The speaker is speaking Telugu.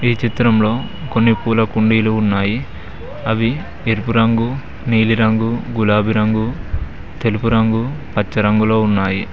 ఈ చిత్రంలో కొన్ని పూల కుండీలు ఉన్నాయి అవి ఎరుపు రంగు నీలిరంగు గులాబీ రంగు తెలుపు రంగు పచ్చ రంగులో ఉన్నాయి.